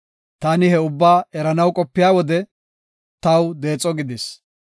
Taani ha ubbaa eranaw qopiya wode, taw deexo gidis.